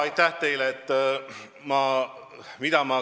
Aitäh teile!